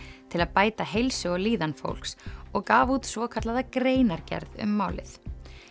til að bæta heilsu og líðan fólks og gaf út svokallaða greinargerð um málið